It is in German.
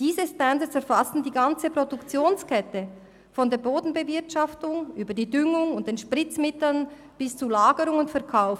Diese Standards erfassen die ganze Produktionskette von der Bodenbewirtschaftung über die Düngung und die Spritzmittel bis zur Lagerung und zum Verkauf.